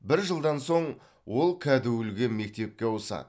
бір жылдан соң ол кәдуілгі мектепке ауысады